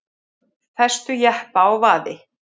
Festu jeppa á vaði